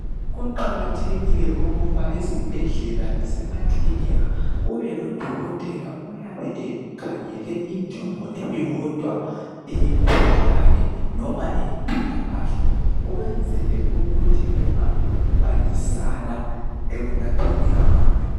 Kuqakathekile ukuba esibhedlela lasemakilinika kube lodokotela oyabe ekhangele injongo eyodwa eyemkhuhlane noma eyempilakahle ukwenzela ukuthi kungabi lokubangisana ekulapheni abantu.